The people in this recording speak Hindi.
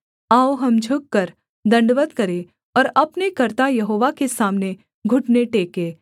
आओ हम झुककर दण्डवत् करें और अपने कर्ता यहोवा के सामने घुटने टेकें